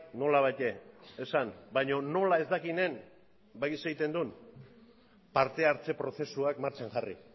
nolabait esan baina nola ez dakienen badakizu zer egiten duen parte hartze prozesuak martxan jarri